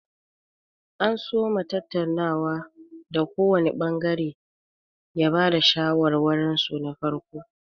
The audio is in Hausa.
An soma tattaunawar da kowanr ɓangare ya ba da shawarwarinsu na farko.